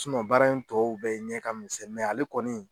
baara in tɔw bɛɛ ɲɛ ka misɛn mɛ ale kɔni,